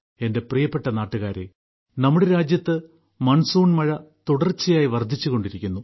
എന്റെ പ്രിയപ്പെട്ട നാട്ടുകാരേ നമ്മുടെ രാജ്യത്ത് മൺസൂൺ മഴ തുടർച്ചയായി വർദ്ധിച്ചുകൊണ്ടിരിക്കുന്നു